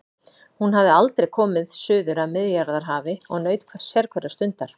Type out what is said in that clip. Hún hafði aldrei komið suður að Miðjarðarhafi og naut sérhverrar stundar.